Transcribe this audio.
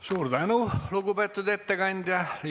Suur tänu, lugupeetud ettekandja!